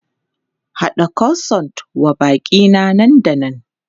Haɗa Croissant wa baƙi na nan da nan!